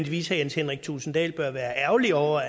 jens henrik thulesen dahl bør være ærgerlig over